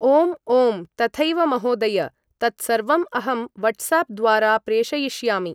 ओं ओं तथैव महोदय तत्सर्वं अहं वट्साप् द्वारा प्रेशयिष्यामि ।